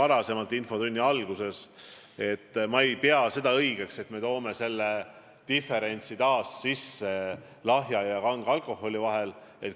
Nagu ma infotunni alguses ütlesin, ma ei pea õigeks, et me tekitame taas diferentsi lahja ja kange alkoholi aktsiisi vahel.